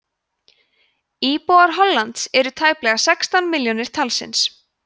íbúar hollands eru tæplega sextán milljónir talsins